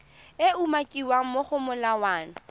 e umakiwang mo go molawana